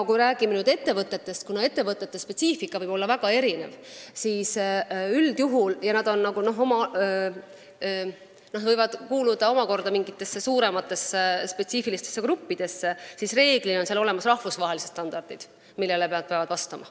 Kui me räägime ettevõtetest – nende spetsiifika võib olla väga erinev –, siis need võivad kuuluda omakorda mingitesse suurematesse spetsiifilistesse gruppidesse ja enamasti on olemas rahvusvahelised standardid, millele nad peavad vastama.